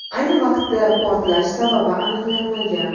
Ayni vaqtda portlash sababi aniqlanmagan.